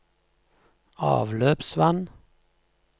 avløpsvann